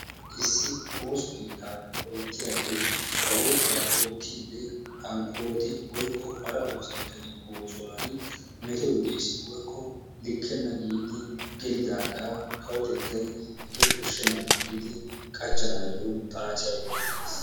issi ooso keettan ootiyaage ba oosuwaa oottide hankkoti woykko hara oosanchchatu oosuwaan metoy de'ees woykko likkena giidi gelidaaga kawotettay hegee koshshenaba giidi qachchanayyo xaacciya yediidi de'ees.